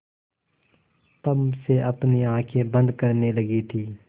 तम से अपनी आँखें बंद करने लगी थी